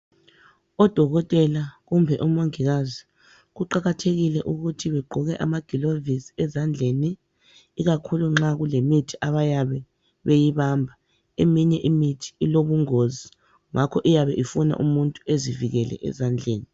ododkotela kumbe omongikazi kuqakathekile ukuba begqoke amagulovisi ezandleni ikakhulu nxa kulemithi abayabe beyibamba eminye imiyhi ilobungozi ngakho iyabe ifuna ukuthi uzivikele ezandleni